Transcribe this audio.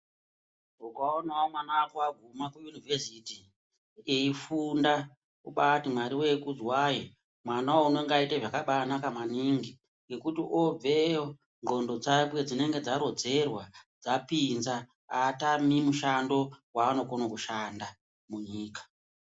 Ukaonawo mwana wako aguma kuUnivhesiti wobati eifunda wobaati Mwari kudzwai ndlxondo dzake dzinenge dzabaarodzerwa azotami mushando waanokone kushanda munyika.